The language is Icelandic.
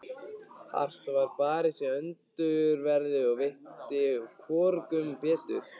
Hart var barist í öndverðu, og veitti hvorugum betur.